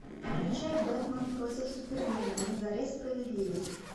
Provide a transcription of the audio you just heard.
включай бэтмен против супермена на заре справедливости